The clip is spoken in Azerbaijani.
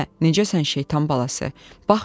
Hə, necəsən şeytan balası?